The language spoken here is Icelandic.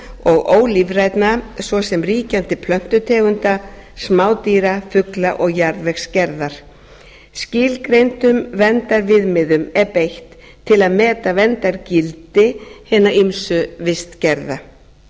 lífrænna og ólífrænna svo sem ríkjandi plöntutegunda smádýra fugla og jarðvegsgerðar skilgreindum verndarviðmiðum er beitt til að meta verndargildi hinna ýmsu vistgerða